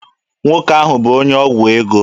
Nwoke ahụ bụ onye ọgwụ ego.